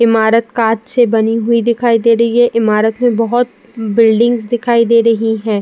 ईमारत कांच से बनी हुई दिखाई दे रही है। ईमारत में बोहोत बिल्डिंग्स दिखाई दे रही हैं।